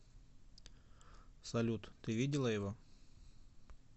салют ты видела его